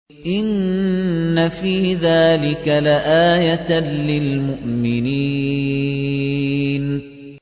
إِنَّ فِي ذَٰلِكَ لَآيَةً لِّلْمُؤْمِنِينَ